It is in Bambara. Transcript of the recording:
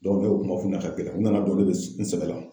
ne ye o kuma f'u ɲɛna ka gɛlɛya ,u nana dɔn ne be sɛgɛ la.